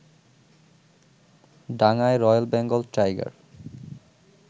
ডাঙায় royal Bengal tiger